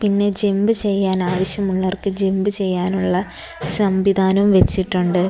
ഇനി ജമ്പ് ചെയ്യാൻ ആവശ്യമുള്ളവർക്ക് ജമ്പ് ചെയ്യാനുള്ള സംവിധാനം വെച്ചിട്ടുണ്ട്.